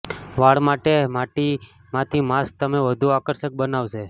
વાળ માટે માટી માંથી માસ્ક તમે વધુ આકર્ષક બનાવશે